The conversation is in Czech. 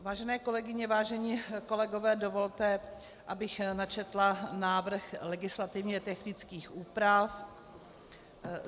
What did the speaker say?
Vážené kolegyně, vážení kolegové, dovolte, abych načetla návrh legislativně technických úprav.